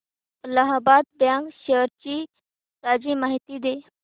Allahabad bank shares ची ताजी माहिती दे